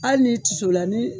Hali n'i tisola ni